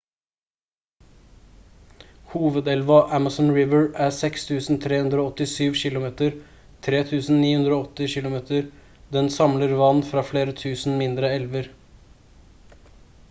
hovedelva amazon river er 6 387 km 3 980 km. den samler vann fra flere tusen mindre elver